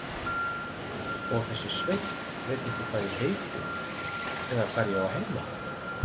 Og þessi Sveinn veit ekki hvað ég heiti eða hvar ég á heima.